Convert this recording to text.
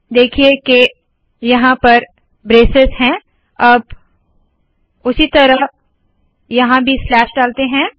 देखिए के यहाँ पर ब्रेसेस है अब उसी तरह यहाँ भी डालते है